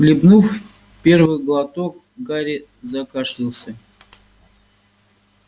хлебнув первый глоток гарри закашлялся